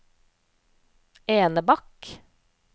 Enebakk